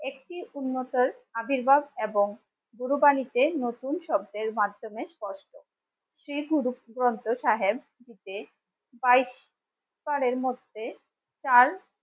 একটি উন্নত আবির্ভাব এবং কুরবানীতে নতুন শব্দের মাধ্যমে স্পষ্ট গুরু গ্রন্থ সাহেব ফাইভ মধ্যে চার